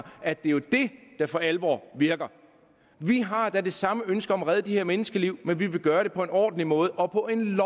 at det jo er det der for alvor virker vi har da det samme ønske om at redde de her menneskeliv men vi vil gøre det på en ordentlig måde og på en